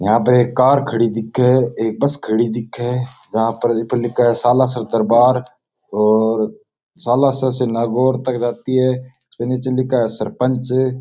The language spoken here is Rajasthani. यहाँ पे एक कार खड़ी दिखे एक बस खड़ी दिखे जहाँ पर जिस पर लिखा है सालासर दरबार और सालासर से नागौर तक जाती है फिर निचे लिखा है सरपंच।